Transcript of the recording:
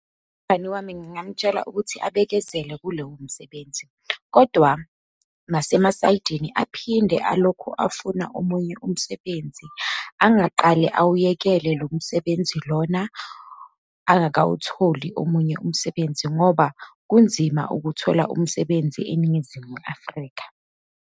Umngani wami ngingamtshela ukuthi abekezele kulowo msebenzi, kodwa nasemasayidini aphinde alokhu afuna omunye umsebenzi, angaqale awuyekele lo msebenzi lona angakawutholi omunye umsebenzi, ngoba kunzima ukuthola umsebenzi eNingizimu Afrika.